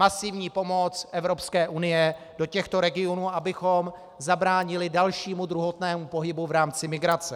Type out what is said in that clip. Masivní pomoc Evropské unie do těchto regionů, abychom zabránili dalšímu, druhotnému pohybu v rámci migrace.